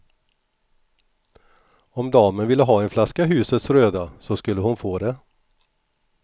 Om damen ville ha en flaska husets röda, så skulle hon få det.